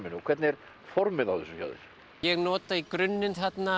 hvernig er formið á þessu hjá þér ég nota í grunninn þarna